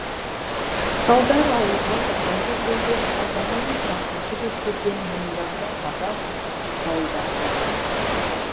салдар ауылға тақай бергенде алдарынан шапқыншы боп келген мойындарына сапа асынған жасауылдары болатын